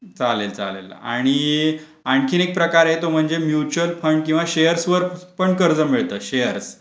चालेल चालेल आणि आणखीन एक प्रकारे तो म्हणजे म्युचल फंड किंवा शेअर्सवर पण कर्ज मिळतात शेअर्स .